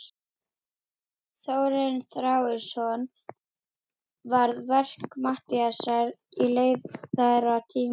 Þórarinn Þórarinsson varði verk Matthíasar í leiðara Tímans.